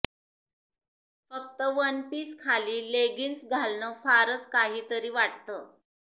फक्त वनपीस खाली लेगिंग्ज घालणं फारच काही तरी वाटतं